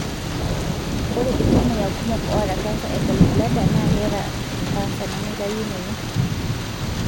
ore iltamoyia kumok oata cancer e gallblader na keeta canser nemitayunoyu.